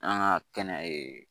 An ka kɛnɛ